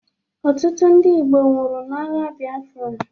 Ọtụtụ ndị Igbo nwụrụ n'agha biafra.